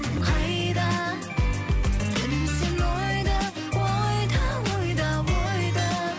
қайда жүрсің ойда ойда ойда ойда